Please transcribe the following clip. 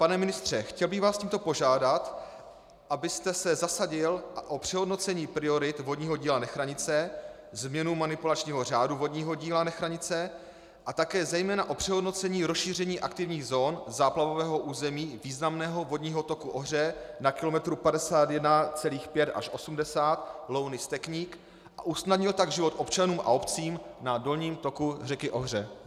Pane ministře, chtěl bych vás tímto požádat, abyste se zasadil o přehodnocení priorit vodního díla Nechranice, změnu manipulačního řádu vodního díla Nechranice a také zejména o přehodnocení rozšíření aktivních zón záplavového území významného vodního toku Ohře na kilometru 51,5 až 80 Louny-Stekník, a usnadnil tak život občanům a obcím na dolním toku řeky Ohře.